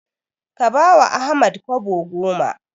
Ka bawa Ahmad Kobo goma.